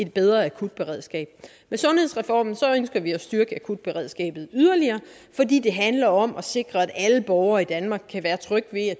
bedre akutberedskab med sundhedsreformen ønsker vi at styrke akutberedskabet yderligere fordi det handler om at sikre at alle borgere i danmark kan være trygge ved at